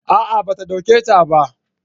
a'a ba a dauke ta ba